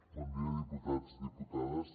bon dia diputats i diputades